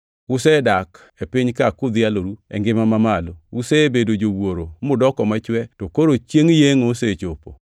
Usedak e piny-ka kudhialoru e ngima mamalo, usebedo jowuoro mudoko machwe to koro chiengʼ yengʼo osechopo.